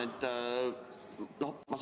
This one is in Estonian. Palun!